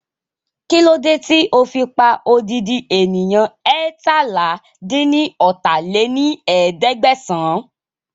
Kílódé tí ó fi pa odidi ènìyàn eétalá-dín-ní-ọ́ta lé ní ẹ̀ẹ́dẹ́gbẹ́sán